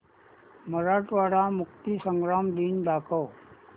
मराठवाडा मुक्तीसंग्राम दिन दाखव